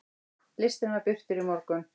Listinn var birtur í morgun.